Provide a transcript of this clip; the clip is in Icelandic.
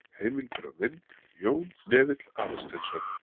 Heimildir og mynd: Jón Hnefill Aðalsteinsson.